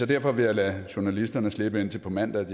derfor vil jeg lade journalisterne slippe indtil på mandag